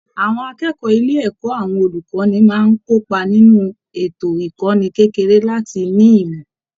Àwọn akẹ́kọ̀ọ́ ilé ẹ̀kọ́ àwọn olùkọ́ni máa ń kópa nínú ètò ìkọ́ni kékeré láti ní ìmọ̀